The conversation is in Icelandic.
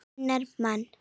unnar mann.